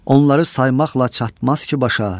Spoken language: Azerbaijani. Onları saymaqla çatmaz ki başa.